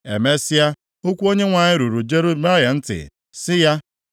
Emesịa, okwu Onyenwe anyị ruru Jeremaya ntị sị ya,